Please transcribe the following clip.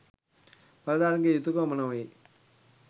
බලධාරීන්ගේ යුතුකම නොවේ.